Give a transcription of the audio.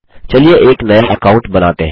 चलिए एक नया अकाउंट बनाते हैं